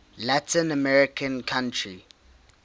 latin american country